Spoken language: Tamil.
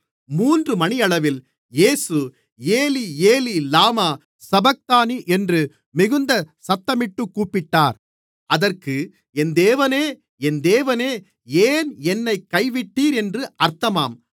மூன்று மணியளவில் இயேசு ஏலீ ஏலீ லாமா சபக்தானி என்று மிகுந்த சத்தமிட்டுக் கூப்பிட்டார் அதற்கு என் தேவனே என் தேவனே ஏன் என்னைக் கைவிட்டீர் என்று அர்த்தமாம்